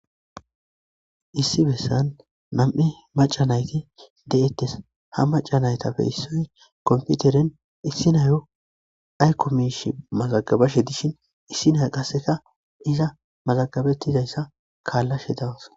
Issi bessan Nam'e Macca nayti de'ttes ha macca nayitappe issoyi comppoteren issi nayo ayikko mishshe mazagabashe dishin issi naya qase iza mazagabetizayisa kallashe dawus.